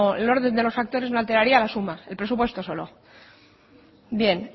el orden de los factores no alteraría la suma el presupuesto solo bien